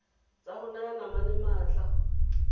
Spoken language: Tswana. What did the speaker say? tsa go naya manane maatla